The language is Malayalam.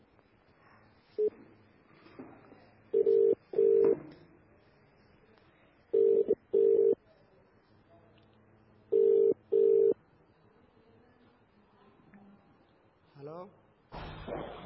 ഹലോ